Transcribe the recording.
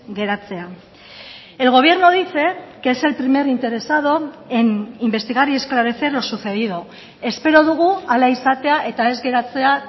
geratzea el gobierno dice que es el primer interesado en investigar y esclarecer lo sucedido espero dugu hala izatea eta ez geratzea